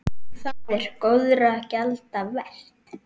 Það er góðra gjalda vert.